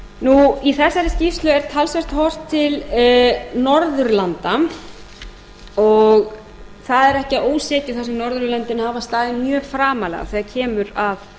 þessari skýrslu er talsvert horft til norðurlanda og það er ekki að ósekju þar sem norðurlöndin hafa staðið mjög framarlega þegar kemur að